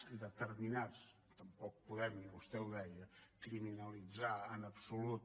determinats tampoc podem vostè ho deia criminalitzar en absolut